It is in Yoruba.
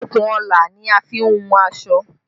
Okùnọlà ni a fi n wọn aṣọ